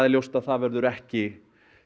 ljóst að það verður ekki